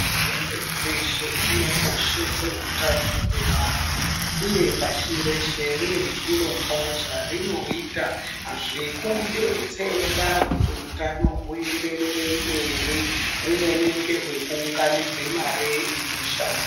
Hurumende dzeshe dzinokoshese utano hwevantu, uye pashi reshe rine zvirongwa zvarinoita zvekudetsera kuti utano huenderere mberi, humweni ngehwe kuunganidze mare inoshanda.